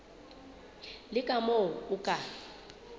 le ka moo o ka